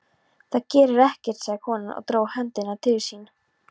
Það gerir ekkert, sagði konan og dró höndina til sín.